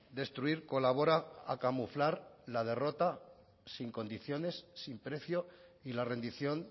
destruir colabora a camuflar la derrota sin condiciones sin precio y la rendición